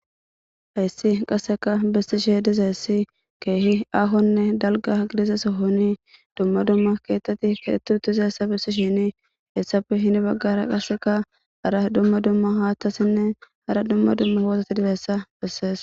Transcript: Hayssi qasseka bessishe dizeessi keehi ahonne dalga gidizesohoni dumma dumma keetteti kehetu utize essa bissi shini essappe hini baggara qaseka ara dumma dumma haathtasinne ara dumma dumma hoosati dibessa bessees